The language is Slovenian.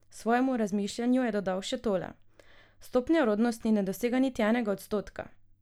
Svojemu razmišljanju je dodal še tole: "Stopnja rodnosti ne dosega niti enega odstotka.